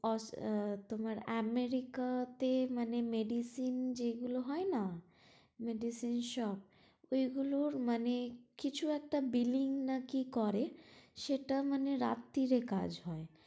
তোমার আমেরিকাতে মানে medicine যেগুলো হয় না, medicine shop তো এগুলোর মানে কিছু একটা billing না কি করে সেটা মানে রাত্রী কাজ হয়